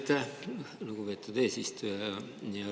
Aitäh, lugupeetud eesistuja!